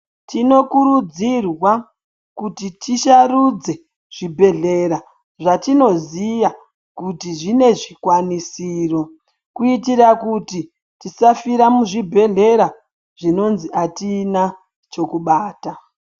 Tinokururdzirwa kuti tisharudze zvibhehlera zvatinoziya kuti zvinezvikwanisiro kuitira kuti tisafira muzbibhehleya zvinozi atina chekubata.